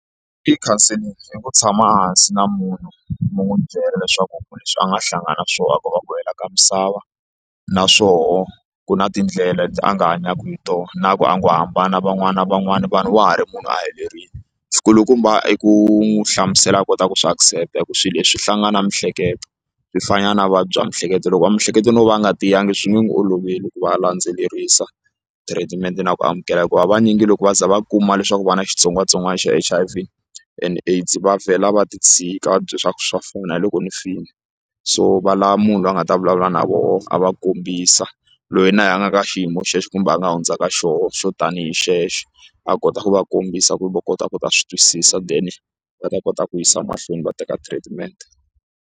I counseling i ku tshama hansi na munhu mi n'wi byela leswaku leswi a nga hlangana na swona ku va ku hela ka misava naswoho ku na tindlela leti a nga hanyaka hi tona na ku a ngo hambana van'wana na van'wana vanhu wa ha ri munhu a helerile xikulukumba i ku n'wi hlamusela a kota ku swi accept hi ku swilo leswi hlangana miehleketo swi fana na vuvabyi bya miehleketo loko va miehleketo no va nga tiyangi swi nge n'wi oloveli ku va a landzelerisa treatment na ku amukela hi ku ha vanyingi loko va za va kuma leswaku va na xitsongwatsongwana xa H_I_V and AIDS va vhela va ti tshika va ti byela swa ku swa fana hi loko ni file so va lava munhu loyi a nga ta vulavula na vona a va kombisa loyi na yena a nga ka xiyimo xexo kumbe a nga hundzaka xona xo tanihi xexo a kota ku va kombisa ku va kota ku ta swi twisisa then va ta kota ku yisa mahlweni va teka treatment.